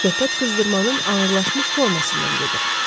Söhbət qızdırmanın ağırlaşmış formasından gedir.